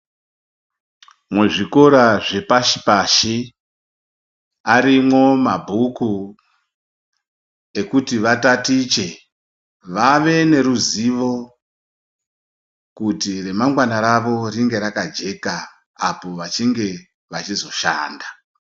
Muzvikora zvepashi-pashi, arimwo mabhuku ekuti vatatiche, vave neruzivo kuti remangwana ravo ringe rakajeka apo vachinge vachizoshanda.